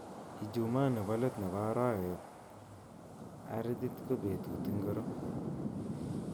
Ijuma nebo let nebo arawet ardhit ko betut ingiro